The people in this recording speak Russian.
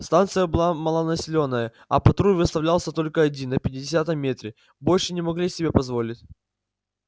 станция была малонаселённая а патруль выставлялся только один на пятидесятом метре большего не могли себе позволить